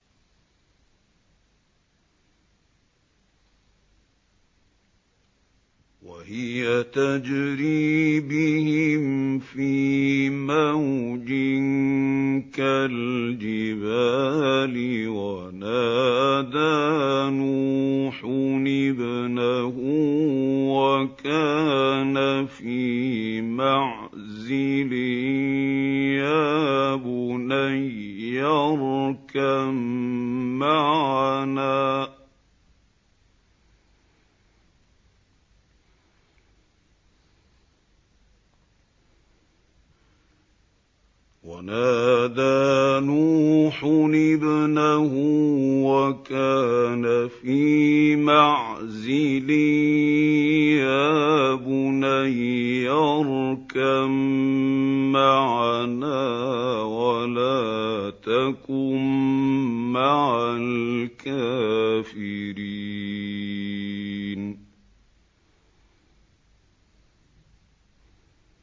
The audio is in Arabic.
وَهِيَ تَجْرِي بِهِمْ فِي مَوْجٍ كَالْجِبَالِ وَنَادَىٰ نُوحٌ ابْنَهُ وَكَانَ فِي مَعْزِلٍ يَا بُنَيَّ ارْكَب مَّعَنَا وَلَا تَكُن مَّعَ الْكَافِرِينَ